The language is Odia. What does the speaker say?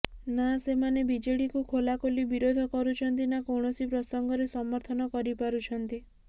ନା ସେମାନେ ବିଜେଡିକୁ ଖୋଲାଖୋଲି ବିରୋଧ କରୁଛନ୍ତି ନା କୌଣସି ପ୍ରସଙ୍ଗରେ ସମର୍ଥନ କରିପାରୁଛନ୍ତି